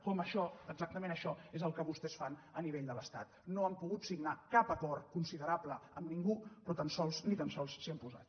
com que això exactament això és el que vostès fan a nivell de l’estat no han pogut signar cap acord considerable amb ningú però ni tan sols s’hi han posat